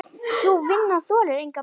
Sú vinna þolir enga bið.